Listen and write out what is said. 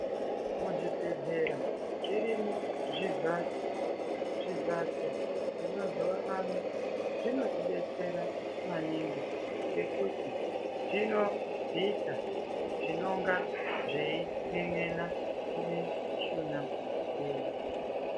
Muzvibhehlera zvirimo zvivhatso zvemazuwa ano zvinotibetsera maningi ngekuti zvinobvisa zvinonga zvein'en'ena mumishuna yedu.